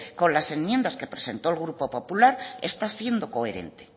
con las enmiendas que presentó el grupo popular está siendo coherente